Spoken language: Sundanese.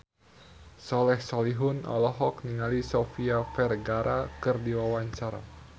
Soleh Solihun olohok ningali Sofia Vergara keur diwawancara